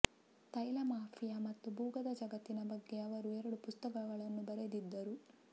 ತೈಲ ಮಾಫಿಯಾ ಮತ್ತು ಭೂಗತ ಜಗತ್ತಿನ ಬಗ್ಗೆ ಅವರು ಎರಡು ಪುಸ್ತಕಗಳನ್ನೂ ಬರೆದಿದ್ದರು